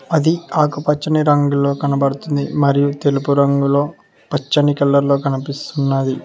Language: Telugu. అది ఆకు పచ్చని రంగులో కనబడుతుంది మరియు తెలుపు రంగులో పచ్చని కలర్లో కనిపిస్తున్నది.